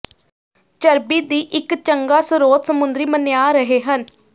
ਚਰਬੀ ਦੀ ਇੱਕ ਚੰਗਾ ਸਰੋਤ ਸਮੁੰਦਰੀ ਮੰਨਿਆ ਰਹੇ ਹਨ